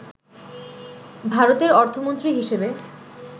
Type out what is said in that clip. ভারতের অর্থমন্ত্রী হিসেবে